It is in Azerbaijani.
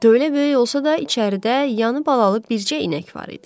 Tövlə böyük olsa da, içəridə yanı balalı bircə inək var idi.